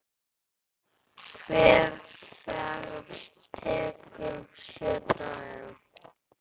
Hver ferð tekur sjö daga.